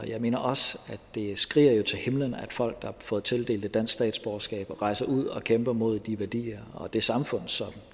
jeg mener også at det skriger til himlen at folk der har fået tildelt et dansk statsborgerskab rejser ud og kæmper mod de værdier og det samfund som